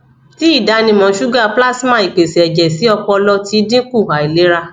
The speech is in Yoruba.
ti idanimọ suga plasma ipese ẹjẹ si ọpọlọ ti dinku ailera